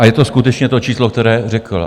A je to skutečně to číslo, které řekl.